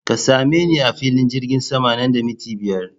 Ka same ni a filin jirgin sama nan da minti biyar!